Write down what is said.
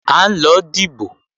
À ń lọ dìbò